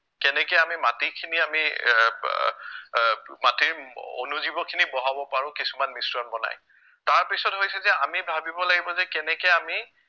কেনেকে আমি মাটিখিনি আমি আহ আহ আহ মাটিৰ অনুজীৱখিনি বঢ়াব পাৰো কিছুমান মিশ্ৰণ বনাই, তাৰ পিছত হৈছে যে আমি ভাৱিব লাগিব যে কেনেকে আমি